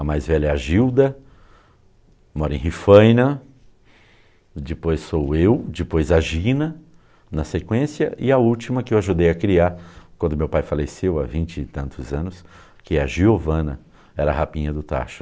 A mais velha é a Gilda, mora em Rifaina, depois sou eu, depois a Gina, na sequência, e a última que eu ajudei a criar quando meu pai faleceu há vinte e tantos anos, que é a Giovana, era a rapinha do tacho.